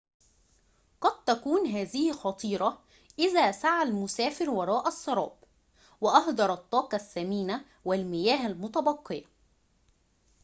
قد تكون هذه خطيرة إذا سعى المسافر وراء السراب وأهدر الطاقة الثمينة والمياه المتبقية